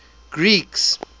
greeks